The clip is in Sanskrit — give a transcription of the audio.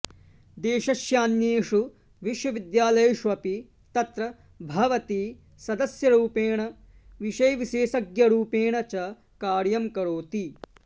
देशस्यान्येषु विश्वविद्यालयेष्वपि तत्र भवती सदस्यरूपेण विषयविषेज्ञरूपेण च कार्यं करोति